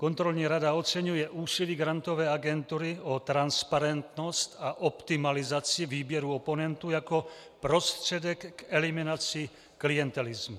Kontrolní rada oceňuje úsilí Grantové agentury o transparentnost a optimalizaci výběru oponentů jako prostředek k eliminaci klientelismu.